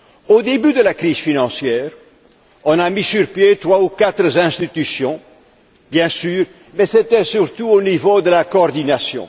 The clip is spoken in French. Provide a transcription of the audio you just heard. Au début de la crise financière, on a mis sur pied trois ou quatre institutions, bien sûr, mais c'était surtout au niveau de la coordination.